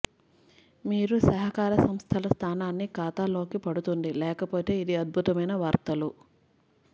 మీరు సహకార సంస్థలు స్థానాన్ని ఖాతాలోకి పడుతుంది లేకపోతే ఇది అద్భుతమైన వార్తలు